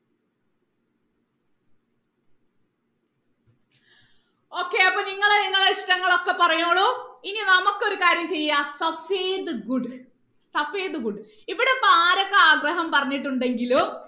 okay അപ്പൊ നിങ്ങൾ നിങ്ങളുടെ ഇഷ്ട്ടങ്ങളൊക്കെ പറഞ്ഞോളൂ ഇനി നമുക്ക് ഒരു കാര്യം ചെയ്യാം ഇവിടെ ഇപ്പൊ ആരൊക്കെ ആഗ്രഹം പറഞ്ഞിട്ടുണ്ടെങ്കിലും